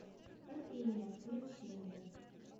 кофейня включи мне